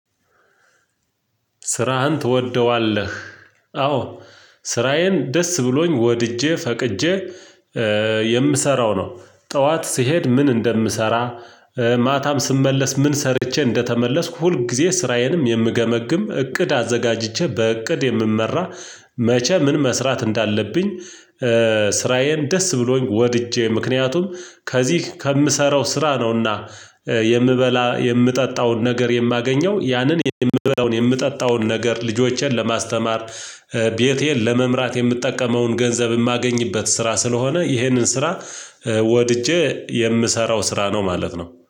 ስራህን ትወደዋለህ? አዎ ስራዬን ደስ ብሎኝ ወድጄ ፈቅጄ የምሰራው ነው። ጠዋት ስሄድ ምን እንደምሰራ ማታም ስመለስ ምን ሰርቼ እንደተመለስኩ ሁልጊዜ ስራዬንም የምገመግም እቅድ አዘጋጅቼ በእቅድ የምመራ መቼ ምን መስራት እንዳለብኝ። ስራዬን ደስ ብሎኝ ወድጄ ምክንያቱም ከዚህ ከምሰራው ስራ ነውና። የምበላ የምጠጣውን ነገር የማገኘው ያንን የምበላውን የምጠጣውን ነገር ልጆቼን ለማስተማር ቤቴን ለመምራት የምጠቀመውን ገንዘብ የማገኝበት ስራ ስለሆነ ይህንን ስራ። ወድጄ የምሰራው ስራ ነው ማለት ነው